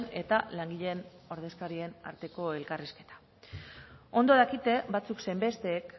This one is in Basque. eta langileen ordezkarien arteko elkarrizketa ondo dakite batzuk zein besteek